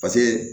Paseke